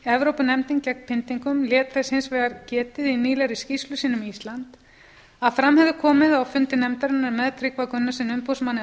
evrópunefndin gegn pyndingum lét þess hins vegar getið í fyrrnefndri skýrslu sinni að fram hefði komið á fundi nefndarinnar með tryggva gunnarssyni umboðsmanni